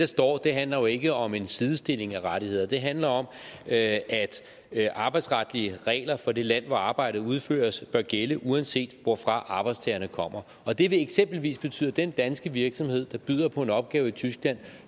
står handler jo ikke om en sidestilling af rettigheder det handler om at arbejdsretlige regler for det land hvor arbejdet udføres bør gælde uanset hvorfra arbejdstagerne kommer og det vil eksempelvis betyde den danske virksomhed der byder på en opgave i tyskland